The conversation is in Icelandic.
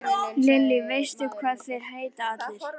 Lillý: Veistu hvað þeir heita allir?